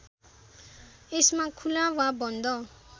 यसमा खुला वा बन्द